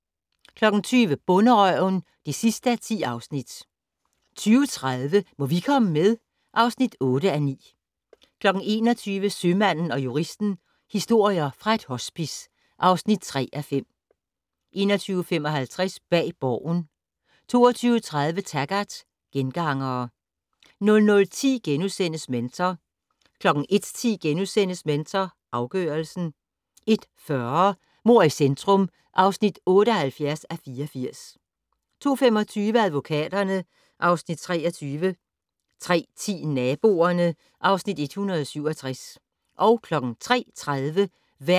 20:00: Bonderøven (10:10) 20:30: Må vi komme med? (8:9) 21:00: Sømanden & Juristen - historier fra et hospice (3:5) 21:55: Bag Borgen 22:30: Taggart: Gengangere 00:10: Mentor * 01:10: Mentor afgørelsen * 01:40: Mord i centrum (78:84) 02:25: Advokaterne (Afs. 23) 03:10: Naboerne (Afs. 167)